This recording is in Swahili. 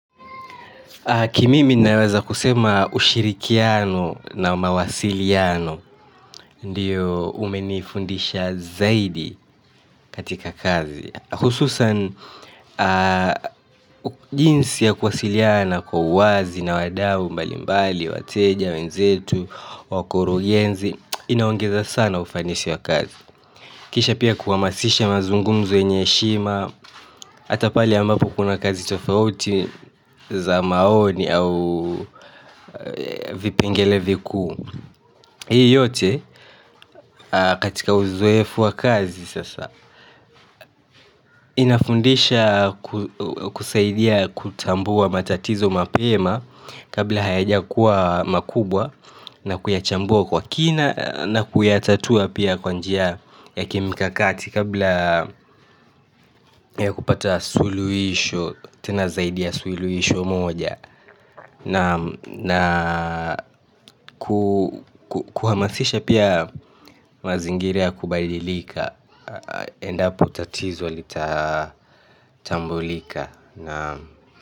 Kimimi naweza kusema ushirikiano na mawasiliano, ndiyo umenifundisha zaidi katika kazi. Hususan, jinsi ya kuwasiliana kwa uwazi na wadau mbali mbali, wateja, wenzetu, wakurugenzi, inaongeza sana ufanisi wa kazi. Kisha pia kuhamasisha mazungumzo yenye heshima hata pale ambapo kuna kazi tofauti za maoni au vipengele vikuu hii yote katika uzoefu wa kazi sasa. Inafundisha kusaidia kutambua matatizo mapema kabla hayajakuwa makubwa na kuyachambua kwa kina na kuyatatua pia kwa njia ya kimikakati kabla ya kupata suluhisho tena zaidi ya suluhisho moja na kuhamasisha pia mazingira ya kubadilika. Endapo tatizo litatambulika.